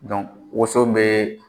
Dɔnk woso bɛ